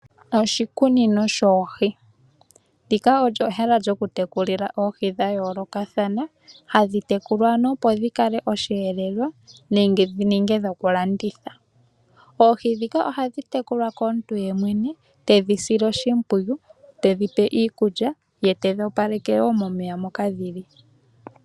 Oshikunino shoohi olyo ehala lyokutekulila oohi dhayoolokathana , hadhi tekulwa opo dhi ninge osheelelwa nenge dhi ninge dhokulanditha. Oohi ndhika ohadhi tekulwa komuntu yemwene tedhi pe iikulya, ye tedhi opaleke momeya moka dhili.